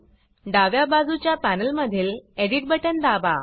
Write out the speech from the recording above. डाव्या बजूच्या पॅनल मधील एडिट बटन दाबा